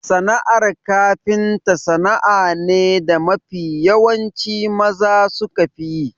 Sana'ar kafinta sana'a ne da mafi yawanci maza sukafi yi.